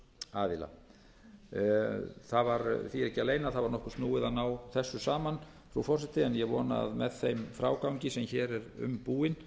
aðila það var því ekki að leyna að það var nokkuð snúið að ná þessu saman frú forseti en ég vona að með þeim frágangi sem hér er um búinn